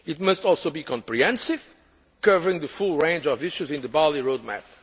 It must also be comprehensive, covering the full range of issues in the Bali road